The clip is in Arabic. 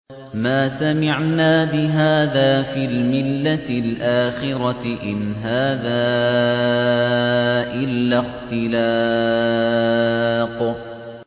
مَا سَمِعْنَا بِهَٰذَا فِي الْمِلَّةِ الْآخِرَةِ إِنْ هَٰذَا إِلَّا اخْتِلَاقٌ